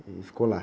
Ele ficou lá?